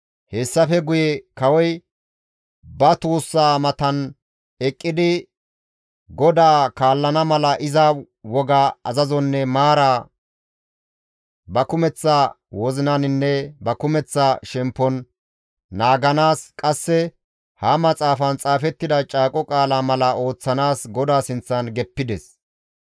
Hessafe guye kawoy ba tuussa matan eqqidi GODAA kaallana mala iza woga, azazonne maara ba kumeththa wozinaninne ba kumeththa shemppon naaganaas, qasse ha maxaafan xaafettida Caaqo Qaala mala ooththanaas GODAA sinththan geppides.